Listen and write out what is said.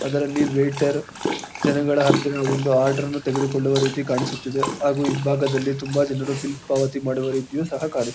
ಅದರಲ್ಲಿ ವೆಯಿಟರ್ ಜನಗಳ ಹತ್ತಿರ ಒಂದು ಆರ್ಡರ್ ಅನ್ನು ತೆಗೆದುಕೊಳ್ಳುವ ರೀತಿ ಕಾಣಿಸುತ್ತಿದೆ ಹಾಗು ಹಿಂಭಾಗದಲ್ಲಿ ತುಂಬಾ ಜನರು ಬಿಲ್ ಪಾವತಿ ಮಾಡುವ ರೀತಿಯು ಸಹ ಕಾಣಿಸು--